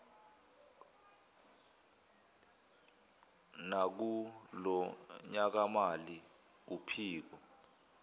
nakulo nyakamali uphiko